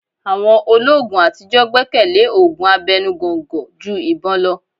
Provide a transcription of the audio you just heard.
Àwọn olóogun àtijọ́ gbẹ́kẹ̀lé òògùn abẹnu gọ̀ǹgọ̀ ju ìbọn lọ.